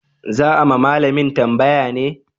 Za a ma malamin tambaya ne?